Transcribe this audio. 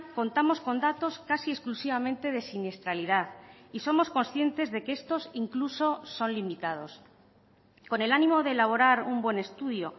contamos con datos casi exclusivamente de siniestralidad y somos conscientes de que estos incluso son limitados con el ánimo de elaborar un buen estudio